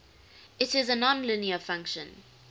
it is a nonlinear function